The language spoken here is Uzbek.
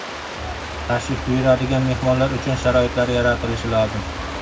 Tashrif buyuradigan mehmonlar uchun sharoitlar yaratilishi lozim.